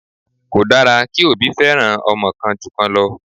Kò dára kí òbí feran ọmọ kan ju kan lọ.